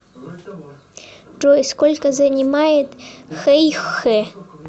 джой сколько занимает хэйхэ